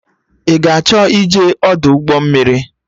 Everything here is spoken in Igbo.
Ị ga-achọ ịje Ọdụ ụgbọ mmiri?